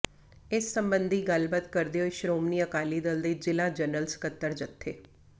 ਇਸ ਸੰਬੰਧੀ ਗੱਲਬਾਤ ਕਰਦੇ ਹੋਏ ਸ਼੍ਰੋਮਣੀ ਅਕਾਲੀ ਦਲ ਦੇ ਜ਼ਿਲ੍ਹਾ ਜਨਰਲ ਸਕੱਤਰ ਜਥੇ